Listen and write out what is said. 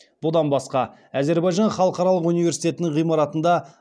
бұдан басқа әзербайжан халықаралық университетінің ғимаратында